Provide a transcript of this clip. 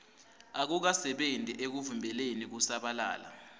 akukasebenti ekuvimbeleni kusabalala